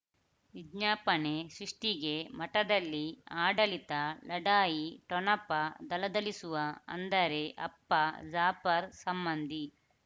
ವಿಜ್ಞಾಪನೆ ಸೃಷ್ಟಿಗೆ ಮಠದಲ್ಲಿ ಆಡಳಿತ ಲಢಾಯಿ ಠೊಣಪ ಥಳಥಳಿಸುವ ಅಂದರೆ ಅಪ್ಪ ಜಾಫರ್ ಸಂಬಂಧಿ